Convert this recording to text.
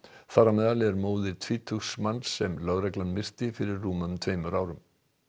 þar á meðal er móðir tvítugs manns sem lögreglan myrti fyrir rúmum tveimur árum